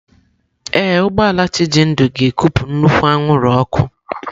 Ee, ụgbọ ala Chijindu ga-ekupụ nnukwu anwụrụ ọkụ.